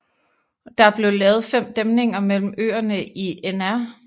Der blev lavet fem dæmninger mellem øerne i Nr